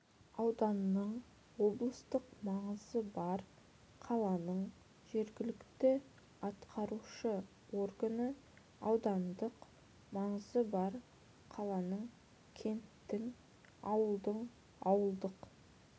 ауданның облыстық маңызы бар қаланың жергілікті атқарушы органы аудандық маңызы бар қаланың кенттің ауылдың ауылдық